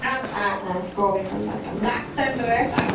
ஆஹ் கோவை கொண்டாட்டம் black thunder